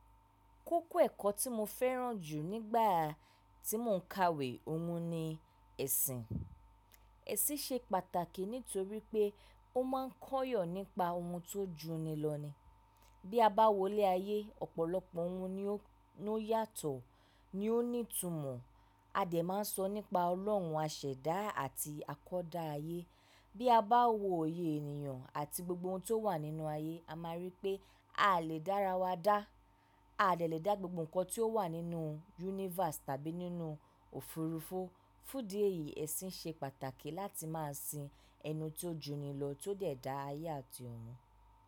Kókó ẹ̀kọ́ tí mo fẹ́ràn jù nígbà tí mò ń ka wé ọ̀hún ni ẹ̀sìn. Ẹ̀sìn ṣe pàtàkì nítorí pé ó máa kọ́yọ̀ nípa ohun tó juni lọ ní. Bí a bá wọlé ayé, ọ̀pọ̀lọpọ̀ ohun ni ó yàtọ̀, ni ó ní ìtumọ̀. A dẹ̀ máa sọ nípa Ọlọ́run, àṣẹ̀dá àti akọ́da ayé. Bí a bá wo oyè ènìyàn àti gbogbo ohun tó wà nínú ayé, a máa rí pé a lè dára wa dá. A lè lè dá gbogbo nǹkan tí ó wà nínú universe tàbí nínú òfurufú. Fún dí èyí, ẹ̀sìn ṣe pàtàkì láti máa sin ẹnu tí ó juni lọ tó dẹ̀ dá ayé àti ohun.